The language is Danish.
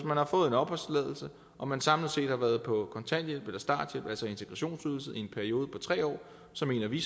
man har fået en opholdstilladelse og man samlet set har været på kontanthjælp eller starthjælp altså integrationsydelse i en periode på tre år så mener vi